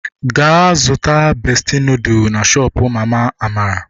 Gaa zụta bestị nudụ na shoopu mama Amara!